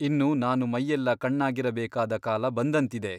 ಇನ್ನು ನಾನು ಮೈಯೆಲ್ಲ ಕಣ್ಣಾಗಿರಬೇಕಾದ ಕಾಲ ಬಂದಂತಿದೆ.